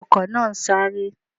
Ọkò náà ń sáré